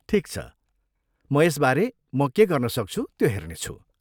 ठिक छ, म यसबारे म के गर्न सक्छु, त्यो हेर्नेछु।